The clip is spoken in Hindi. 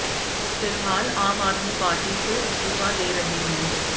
फ़िलहाल आम आदमी पार्टी से इस्तीफा दे रहे हैं